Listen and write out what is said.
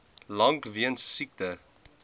lank weens siekte